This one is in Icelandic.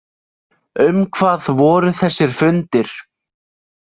Um hvað voru þessir fundir?